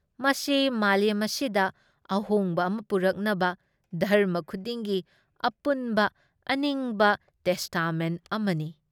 ꯃꯁꯤ ꯃꯥꯂꯦꯝ ꯑꯁꯤꯗ ꯑꯍꯣꯡꯕ ꯑꯃ ꯄꯨꯔꯛꯅꯕ ꯙꯔꯃ ꯈꯨꯗꯤꯡꯒꯤ ꯑꯄꯨꯟꯕ ꯑꯅꯤꯡꯕ ꯇꯦꯁꯇꯥꯃꯦꯟ ꯑꯃꯅꯤ ꯫